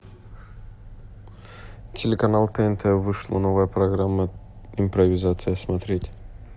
телеканал тнт вышла новая программа импровизация смотреть